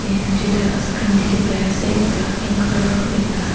and tuita icecream dikhipaiase ekta pink colour aru ekta.